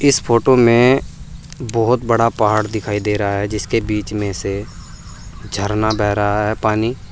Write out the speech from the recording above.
इस फोटो में बहोत बड़ा पहाड़ दिखाई दे रहा है जिसके बीच में से झरना बेह रहा है पानी--